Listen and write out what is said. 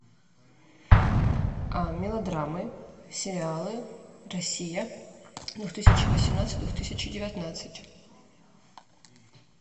мелодрамы сериалы россия двух тысячи восемнадцать двух тысячи девятнадцать